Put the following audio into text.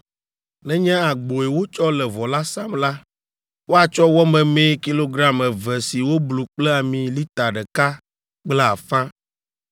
“ ‘Nenye agboe wotsɔ le vɔ la sam la, woatsɔ wɔ memee kilogram eve si woblu kple ami lita ɖeka kple afã